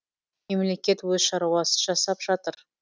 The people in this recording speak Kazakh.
мемлекет өз шаруасын жасап жатыр